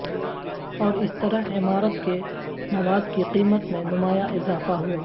اور اس طرح عمارت کے مواد کی قیمت میں نمایاں اضافہ ہوا